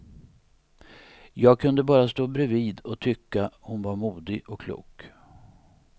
Jag kunde bara stå bredvid och tycka hon var modig och klok.